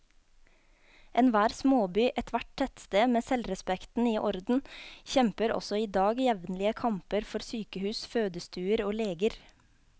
Enhver småby, ethvert tettsted med selvrespekten i orden, kjemper også i dag jevnlige kamper for sykehus, fødestuer og leger.